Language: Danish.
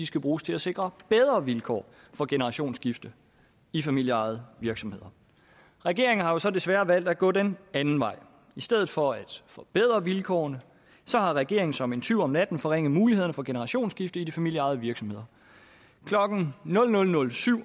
skal bruges til at sikre bedre vilkår for generationsskifte i familieejede virksomheder regeringen har jo så desværre valgt at gå den anden vej i stedet for at forbedre vilkårene har regeringen som en tyv om natten forringet mulighederne for generationsskifte i de familieejede virksomheder klokken nul nul nul syv